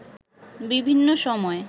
বিভিন্ন সময়